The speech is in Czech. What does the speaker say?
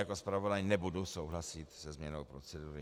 Jako zpravodaj nebudu souhlasit se změnou procedury.